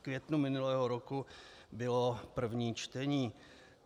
V květnu minulého roku bylo první čtení.